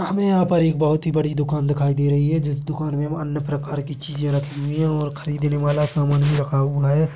हमे यहाँं पर एक बोहत ही बड़ी दुकान दिखाई दे रही हैं जिस दुकान में वो अन्य प्रकार की चीजे रखी हुई हैं और खरीदने वाला सामान भी रखा हुआ हैं।